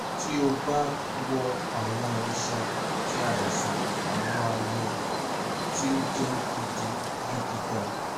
ti o ba wo awọn iṣan ti aisan awọn aye ti o jẹ gidigidi ga